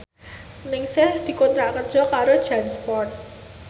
Ningsih dikontrak kerja karo Jansport